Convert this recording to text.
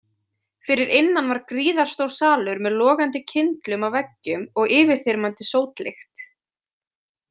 Fyrir innan var gríðarstór salur með logandi kyndlum á veggjum og yfirþyrmandi sótlykt.